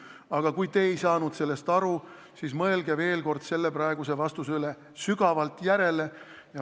Aga kui te ei saanud sellest aru, siis mõelge selle praeguse vastuse üle sügavalt järele.